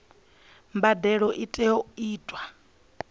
mbadelo i tea u itwa